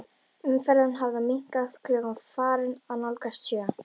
Umferðin hafði minnkað, klukkan var farin að nálgast sjö.